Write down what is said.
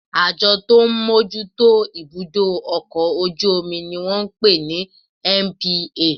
Àjọ tó ń bójú tó ibudọ ọkọ ojú omí ní wọ́n ń pè ní NPA